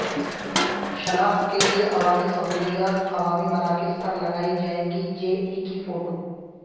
شناخت کیلئے عوامی سہولیات عوامی مراکز پر لگائی جائیں گی جے ای کی فوٹو